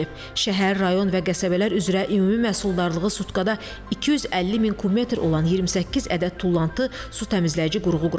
Şəhər, rayon və qəsəbələr üzrə ümumi məhsuldarlığı sutkada 250000 kub metr olan 28 ədəd tullantı su təmizləyici qurğu quraşdırılıb.